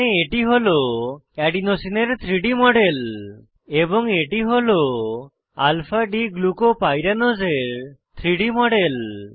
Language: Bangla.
এখানে এটি হল এডিনোসিন এর 3ডি মডেল এবং এটি হল alpha d গ্লুকোপাইরানোজ এর 3ডি মডেল